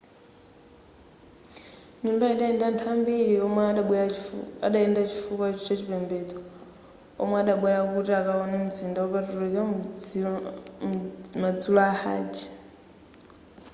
nyumbayi idali ndi anthu ambiri woyenda chifukwa chachipembedzo omwe adabwera kuti akawone mzinda wopatulika madzulo a hajj